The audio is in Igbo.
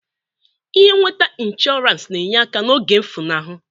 Ihe nweta inshọrans na-enye aka n'oge mfụlahụ.